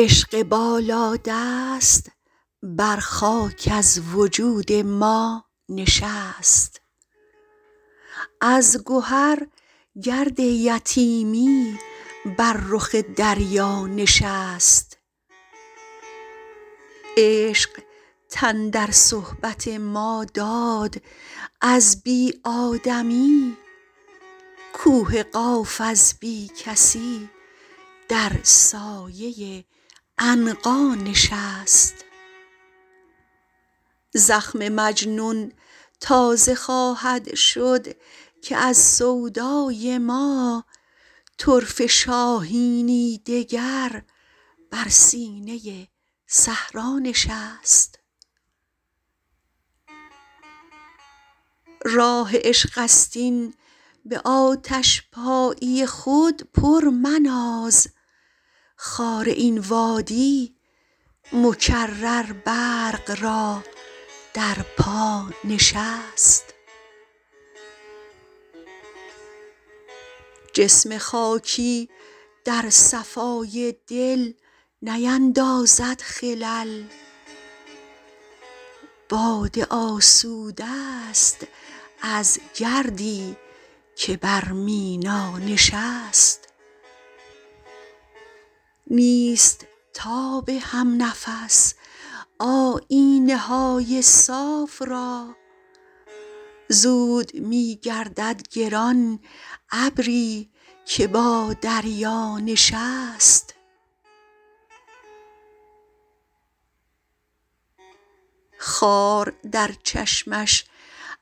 عشق بالا دست بر خاک از وجود ما نشست از گهر گرد یتیمی بر رخ دریا نشست عشق تن در صحبت ما داد از بی آدمی کوه قاف از بی کسی در سایه عنقا نشست زخم مجنون تازه خواهد شد که از سودای ما طرفه شاهینی دگر بر سینه صحرا نشست راه عشق است این به آتش پایی خود پر مناز خار این وادی مکرر برق را در پا نشست جسم خاکی در صفای دل نیندازد خلل باده آسوده است از گردی که بر مینا نشست نیست تاب همنفس آیینه های صاف را زود می گردد گران ابری که با دریا نشست خار در چشمش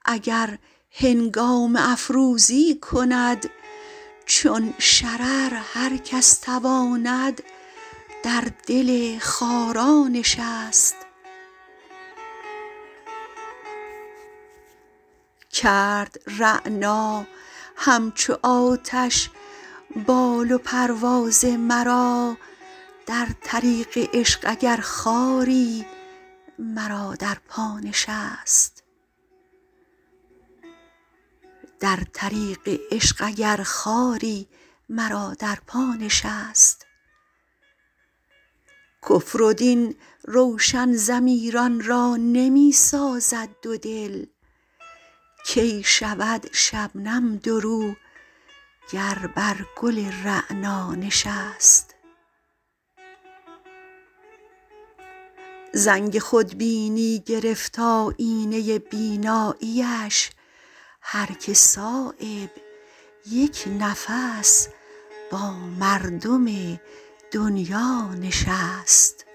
اگر هنگامه افروزی کند چون شرر هر کس تواند در دل خارا نشست کرد رعنا همچو آتش بال و پرواز مرا در طریق عشق اگر خاری مرا در پا نشست کفر و دین روشن ضمیران را نمی سازد دو دل کی شود شبنم دورو گر بر گل رعنا نشست زنگ خودبینی گرفت آیینه بینایی اش هر که صایب یک نفس با مردم دنیا نشست